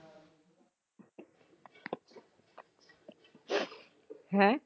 ਹੈਂ?